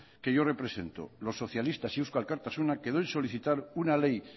que yo represento los socialistas y eusko alkartasuna quedó en solicitar una ley